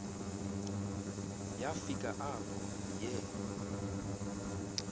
yafika apho yee